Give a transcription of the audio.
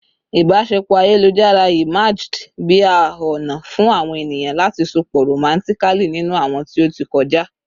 ibaṣepọ ayelujar emerged bi a ona fun awon eniyan lati sopọ romantically ninu awọn ti o ti kọja